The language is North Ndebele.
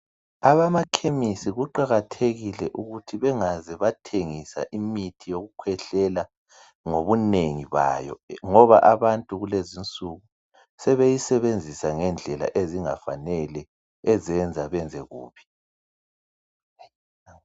Abama Ekhemisi kuqakathekile ukuthi bengaze bathengisa imithi yokukhwehlela ngobunengi bayo ngoba abantu kulezinsuku sebeyisebenzisa ngendlela ezingafanele ezenza benze kubi.